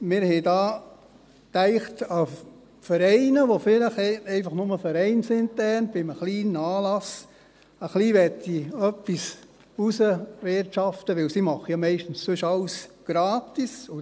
Wir dachten dabei an Vereine, die einfach nur Vereine sind und die dann vielleicht bei einem kleinen Anlass ein bisschen etwas erwirtschaften möchten, weil sie ja sonst meistens alles gratis machen.